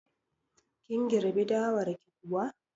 Kin girbi dawar ki kuwa?